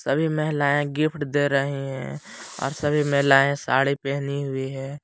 सभी महिलाये गिफ्ट दे रही हैं और सभी महिलाएं साड़ी पहनी हुई है।